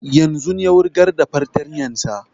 Yanzun ya wurgar da fartanyan sa